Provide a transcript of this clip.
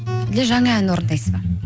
әлде жаңа ән орындайсыз ба